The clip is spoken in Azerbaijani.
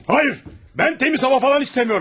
Hayır! Mən təmiz hava falan istəmirəm!